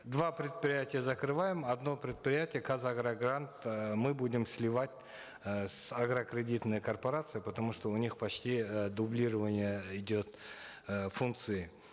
два предприятия закрываем одно предприятие казагрогрант э мы будем сливать э с агрокредитной корпорацией потому что у них почти э дублирование идет э функций